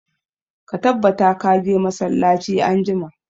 Ka tabbata ka je masallaci anjima!